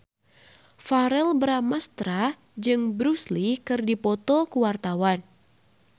Verrell Bramastra jeung Bruce Lee keur dipoto ku wartawan